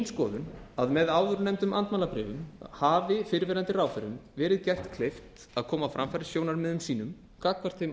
skoðun að með áðurnefndum andmælabréfum hafi fyrrverandi ráðherrum verið gert kleift að koma á framfæri sjónarmiðum sínum gagnvart þeim